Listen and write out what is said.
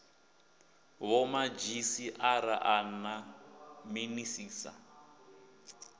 vhomadzhisi ara a na minisiṱa